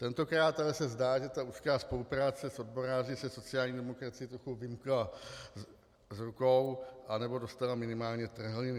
Tentokrát ale se zdá, že ta úzká spolupráce s odboráři se sociální demokracii trochu vymkla z rukou, anebo dostala minimálně trhliny.